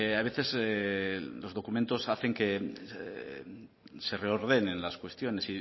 a veces los documentos hacen que se reordenen las cuestiones